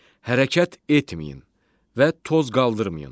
Hərəkət etməyin və toz qaldırmayın.